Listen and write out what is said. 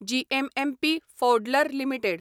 GMMP फौड्लर limited